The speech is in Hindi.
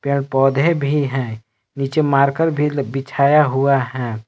पेड़ पौधे भी हैं नीचे मारकर भी बिछाया हुआ है।